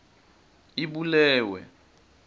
ibulewe